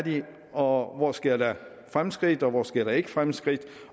og hvor sker der fremskridt og hvor sker der ikke fremskridt